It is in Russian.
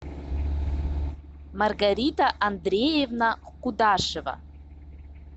маргарита андреевна кудашева